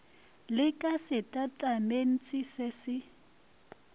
le ka setatamentse se se